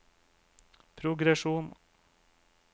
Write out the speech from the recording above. progresjon